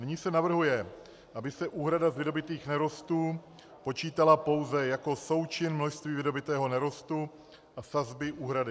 Nyní se navrhuje, aby se úhrada z vydobytých nerostů počítala pouze jako součin množství vydobytého nerostu a sazby úhrady.